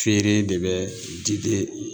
Feere de bɛ diden